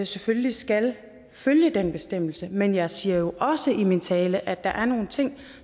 selvfølgelig skal følge den bestemmelse men jeg siger jo også i min tale at der er nogle ting